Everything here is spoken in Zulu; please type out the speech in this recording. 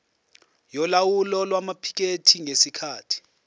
yolawulo lwamaphikethi ngesikhathi